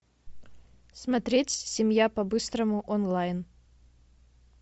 смотреть семья по быстрому онлайн